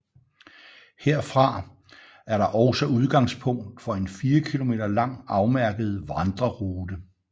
Herfra er der også udgangspunkt for en 4 km lang afmærket vandrerute